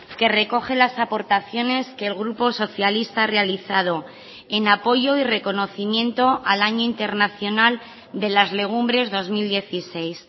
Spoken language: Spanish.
que recoge las aportaciones que el grupo socialista ha realizado en apoyo y reconocimiento al año internacional de las legumbres dos mil dieciséis